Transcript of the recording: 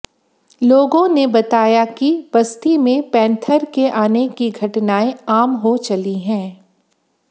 लोगों ने बताया कि बस्ती में पैंथर के आने की घटनाएं आम हो चली हैं